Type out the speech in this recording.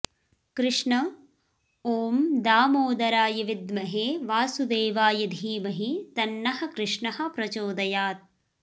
कृष्ण ॐ दामोदराय विद्महे वासुदेवाय धीमहि तन्नः कृष्णः प्रचोदयात्